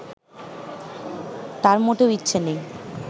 তাঁর মোটেও ইচ্ছে নেই